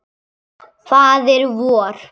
Faðir vor